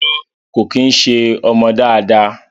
Rárá kò kí ń ṣé ọmọ dáadáa